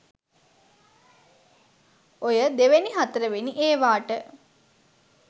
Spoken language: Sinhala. ඔය දෙවැනි හතරවෙනි ඒවාට